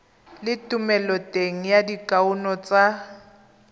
le thomeloteng ya dikuno tsa